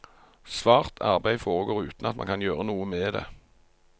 Svart arbeid foregår uten at man kan gjøre noe med det.